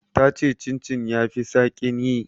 Ta ce chin chin ya fi saƙin yi.